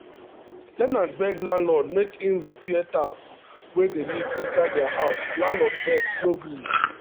ten nants beg landlord make him repair tap wey dey leak inside their house landlord vex no gree. um